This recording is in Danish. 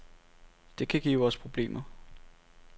Det kan give os problemer.